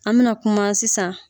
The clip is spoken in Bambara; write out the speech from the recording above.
An mina kuma sisan